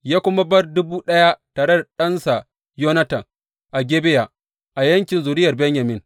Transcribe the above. Ya kuma bar dubu ɗaya tare da ɗansa Yonatan a Gibeya a yankin zuriyar Benyamin.